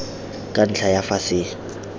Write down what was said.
ka ntlha ya fa se